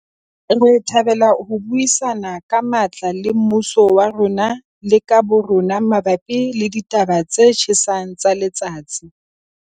Re thabela ho buisana ka matla le mmuso wa rona le ka bo rona mabapi le ditaba tse tjhesang tsa letsatsi.